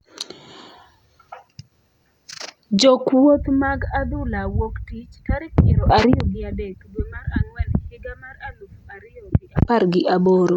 Jokuoth mag adhula wuok tich, tarik piero ariyo gi adek, dwe mar ang'wen higa mar aluf ariyo gi apar gi aboro.